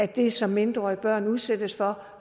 det som mindreårige børn udsættes for